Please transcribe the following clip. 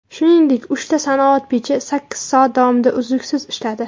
Shuningdek, uchta sanoat pechi sakkiz soat davomida uzluksiz ishladi.